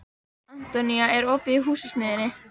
Antonía, er opið í Húsasmiðjunni?